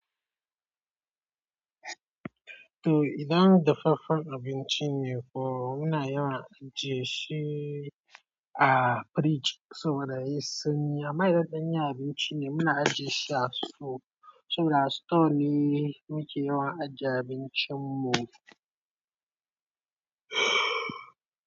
To idan dafaffen abinci ne kuwa muna yawan ajiye shi a firij saboda yayi sanyi. Amma idan yana abinci ne muna ajiye shi a sito saboda sito ne muke yawan ajiye abincinmu.